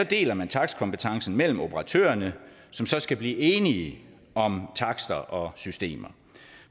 deler man takstkompetencen mellem operatørerne som så skal blive enige om takster og systemer